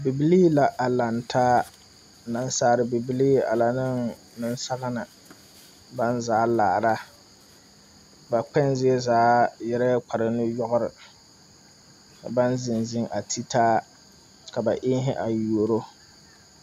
Bibilii la a laŋ taa. Nasalbibilii a lɛ neŋ nesagne. Ba zaa laara. Ba kpɛŋ zie zaa yɛrɛ kpare nu yɔgre. Baŋ zeŋ zeŋ a te taa. Ka ba eŋhe a yuoro